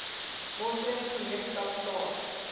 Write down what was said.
moslem gemeenskap staan